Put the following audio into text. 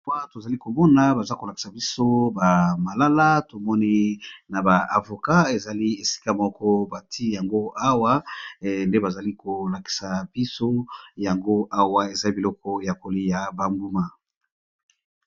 Awa tozali komona baza kolakisa biso ba malala tomoni na ba avocat ezali esika moko bati yango awa nde bazali kolakisa biso yango awa eza biloko ya kolia bambuma.